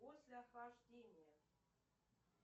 после охлаждения